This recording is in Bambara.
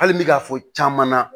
Hali bɛ ka fɔ caman na